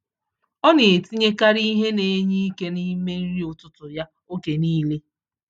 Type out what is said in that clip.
Ọ na-etinyekarị ihe na-enye ike n’ime nri ụtụtụ ya oge niile.